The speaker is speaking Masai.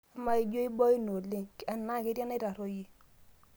amaa jio imoina oleng' enaa ketii enaitarruoyie